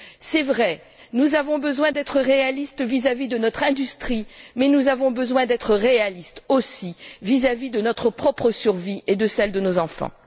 C'est vrai, nous avons besoin d'être réalistes vis à vis de notre industrie, mais nous avons besoin d'être réalistes aussi vis à vis de notre propre survie et de celle de nos enfants.